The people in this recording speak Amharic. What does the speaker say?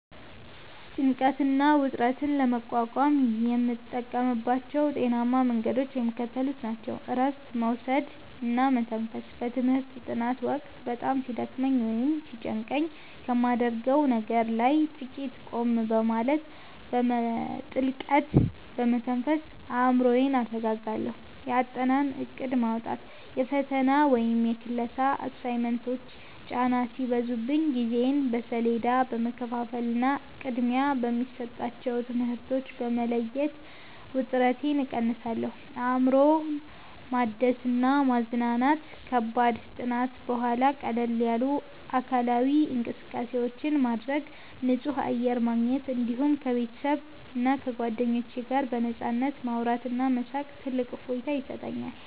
ጭንቀትና ውጥረትን ለመቋቋም የምጠቀምባቸው ጤናማ መንገዶች የሚከተሉት ናቸው፦ እረፍት መውሰድና መተንፈስ፦ በትምህርት ጥናት ወቅት በጣም ሲደክመኝ ወይም ሲጨንቀኝ ከማደርገው ነገር ላይ ጥቂት ቆም በማለት፣ በጥልቀት በመተንፈስ አእምሮዬን አረጋጋለሁ። የአጠናን እቅድ ማውጣት፦ የፈተና ወይም የክላስ አሳይመንቶች ጫና ሲበዙብኝ ጊዜዬን በሰሌዳ በመከፋፈልና ቅድሚያ የሚሰጣቸውን ትምህርቶች በመለየት ውጥረቴን እቀንሳለሁ። አእምሮን ማደስና መዝናናት፦ ከከባድ ጥናት በኋላ ቀለል ያሉ አካላዊ እንቅስቃሴዎችን ማድረግ፣ ንጹህ አየር ማግኘት፣ እንዲሁም ከቤተሰብና ከጓደኞች ጋር በነፃነት ማውራትና መሳቅ ትልቅ እፎይታ ይሰጠኛል።